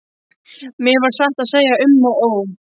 Mér varð satt að segja um og ó.